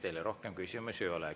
Teile rohkem küsimusi ei ole.